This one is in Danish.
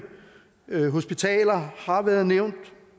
hospitaler har også været nævnt